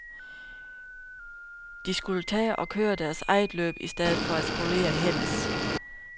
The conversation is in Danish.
De skulle tage og køre deres eget løb i stedet for at spolere hendes.